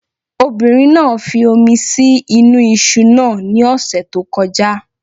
Obìnrin náà fi omi sí inú iṣu náà ní ọ̀sẹ̀ tí ó kọjá